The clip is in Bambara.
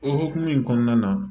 O hukumu in kɔnɔna na